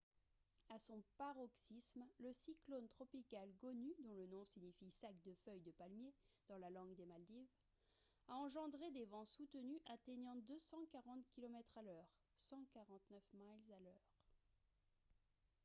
à son paroxysme le cyclone tropical gonu dont le nom signifie sac de feuilles de palmier dans la langue des maldives a engendré des vents soutenus atteignant 240 kilomètres à l'heure 149 miles à l'heure